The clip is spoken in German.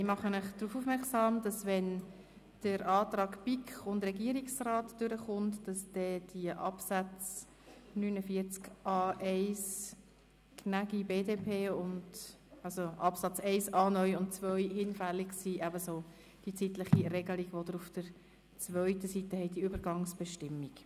Ich mache Sie darauf aufmerksam, dass bei einer Annahme des Antrags BiK und Regierungsrat, Artikel 49a1 Absatz 1a (neu) und Artikel 49a1 Absatz 2 gemäss dem Antrag Gnägi, BDP, hinfällig werden, ebenso die zeitliche Regelung auf der zweiten Seite, das heisst die Übergangsbestimmung.